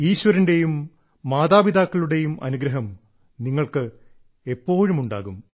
ഈശ്വരന്റെയും മാതാപിതാക്കളുടെയും അനുഗ്രഹം നിങ്ങൾക്ക് എപ്പോഴുമുണ്ടാകും